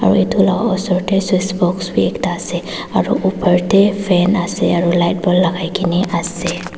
aro edu laka osor tae switch box bi ekta ase aro opor tae fan ase aro light bulb lakai kaena ase.